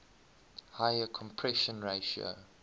higher compression ratio